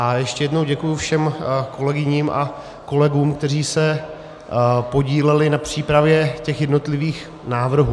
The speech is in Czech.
A ještě jednou děkuji všem kolegyním a kolegům, kteří se podíleli na přípravě těch jednotlivých návrhů.